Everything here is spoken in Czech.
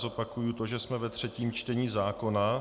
Zopakuji to, že jsme ve třetím čtení zákona.